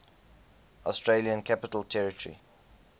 australian capital territory